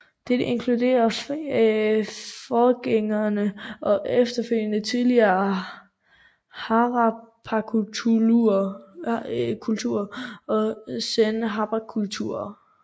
Dette inkluderer forgængeren og efterfølgeren Tidlig Harappakultur og Sen Harappakultur